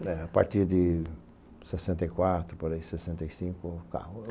A partir de sessenta e quatro, por aí, sessenta e cinco, carro.